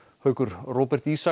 Róbert Ísak